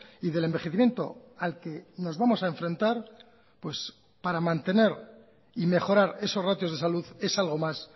y del envejecimiento al que nos vamos a enfrentar pues para mantener y mejorar esos ratios de salud es algo más